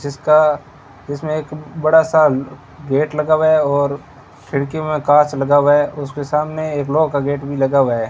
जिसका इसमें एक बड़ा सा गेट लगा हुआ है और खिड़की में कांच लगा हुआ है उसके सामने एक लॉक का गेट भीं लगा हुआ है।